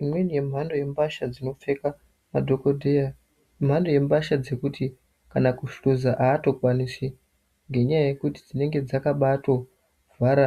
Imweni yemhando yembatya dzinopfeka madhogodheya imhando yembatya yekuti kana kuhluza haatokwanisi ngenyaya yekuti dzinenge dzakabaatovhara